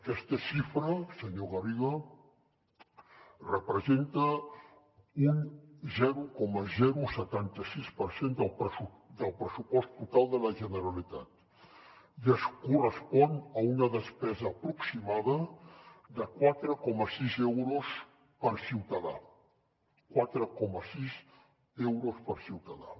aquesta xifra senyor garriga representa un zero coma setanta sis per cent del pressupost total de la generalitat i es correspon a una despesa aproximada de quatre coma sis euros per ciutadà quatre coma sis euros per ciutadà